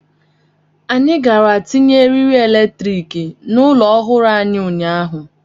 Anyị gara tinye eriri eletrik n'ụlọ ọhụrụ anyị ụnyaahụ.